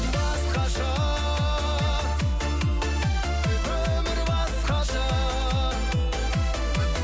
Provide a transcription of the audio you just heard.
басқаша өмір басқаша